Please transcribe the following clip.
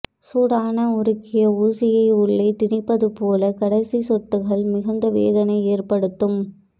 சூடான உறுக்கிய ஊசியை உள்ளே திணிப்பது போல கடைசி சொட்டுகள் மிகுந்த வேதனை ஏற்படுத்தும்